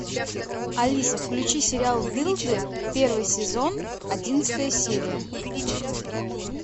алиса включи сериал дылды первый сезон одиннадцатая серия